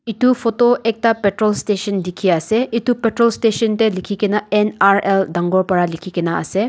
etu photo ekta petrol station dekhi ase etu petrol station te likhi kina N_R_L dangor pora likhi ase.